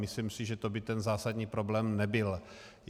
Myslím si, že to by ten zásadní problém nebyl.